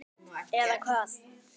Eða Hvað?